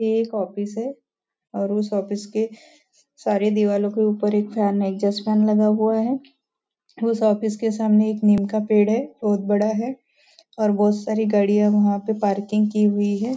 यह एक ऑफिस है और उस ऑफिस के सारी दीवारों के ऊपर एक फेन है एग्जॉस्ट फेन लगा हुआ है उस ऑफिस के सामने एक नीम का पेड़ है बहुत बड़ा है और बहुत सारी गाड़ियाँ वहाँ पे पार्किंग की हुई हैं।